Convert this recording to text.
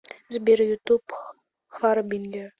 сбер ютуб харбингер